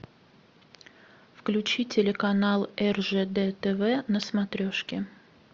включи телеканал ржд тв на смотрешке